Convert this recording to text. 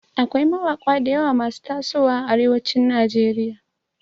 Akwai mawaƙa dayawa masu taso wa a arewacin nigeria